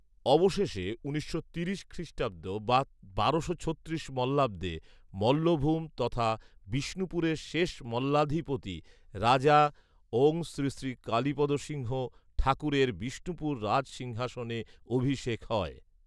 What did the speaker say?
অবশেষে উনিশশো তিরিশ খ্রিষ্টাব্দ বা বারোশো ছত্রিশ মল্লাব্দে মল্লভূম তথা বিষ্ণুপুরের শেষ মল্লাধিপতি রাজা ওঁ শ্রীশ্রী কালিপদ সিংহ ঠাকুরের বিষ্ণুপুর রাজসিংহাসনে অভিষেক হয়